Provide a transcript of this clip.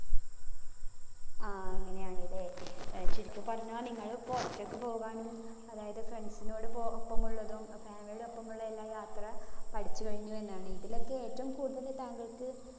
ആഹ് അങ്ങിനെയാണല്ലേ. ചുരുക്കി പറഞ്ഞാൽ നിങ്ങള് പുറത്തേക്ക് പോകാനും അതായത് friends സിനോട് പോ ഒപ്പമുള്ളതും family ഒപ്പോമുള്ള എല്ലാ യാത്ര പഠിച്ചു കഴിഞ്ഞു എന്നാണ്. ഇതിലൊക്കെ ഏറ്റവും കൂടുതൽ താങ്കൾക്